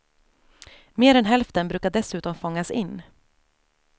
Mer än hälften brukar dessutom fångas in.